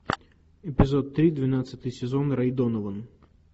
эпизод три двенадцатый сезон рэй донован